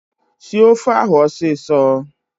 Sie ofe ahụ ọsịsọ!